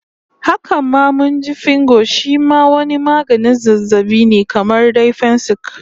Haka ma mun ji Fingo shi ma wani maganin zazzabin ne kamar dai fensik